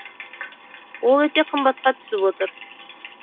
ол өте қымбатқа түсіп отыр